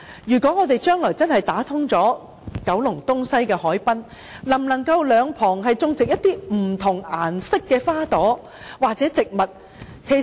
如果將來真的打通九龍東西的海濱，能否在兩旁種植不同顏色的花朵或植物？